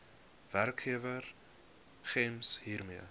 werkgewer gems hiermee